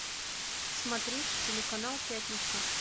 смотреть телеканал пятница